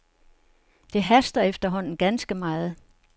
Det haster efterhånden ganske meget.